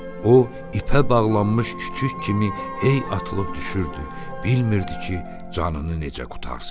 O ipə bağlanmış küçük kimi hey atılıb düşürdü, bilmirdi ki, canını necə qurtarsın.